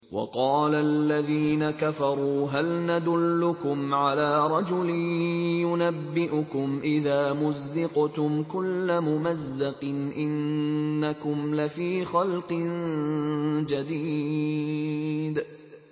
وَقَالَ الَّذِينَ كَفَرُوا هَلْ نَدُلُّكُمْ عَلَىٰ رَجُلٍ يُنَبِّئُكُمْ إِذَا مُزِّقْتُمْ كُلَّ مُمَزَّقٍ إِنَّكُمْ لَفِي خَلْقٍ جَدِيدٍ